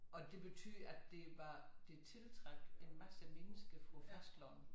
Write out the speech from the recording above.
Og det betød at der var det tiltrak en masse mennesker fra æ fastland